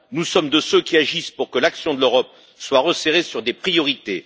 Nous sommes de ceux qui agissent pour que l'action de l'Europe soit resserrée sur des priorités.